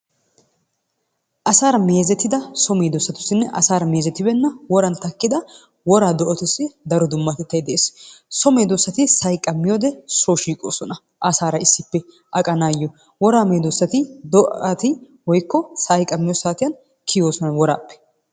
Asara meezettida so medosatusinne asara meezetibenna woraan takidda woraa do'attusi daro dummatetay de'es. So medosatti sa'ay qammiyode so shiqosonna asara issippe aqanayo woraa medosatti do'atti woykko sa'ay qammiyo saatiyan kiyosona worappe.